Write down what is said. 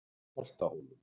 Holtahólum